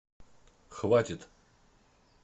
хватит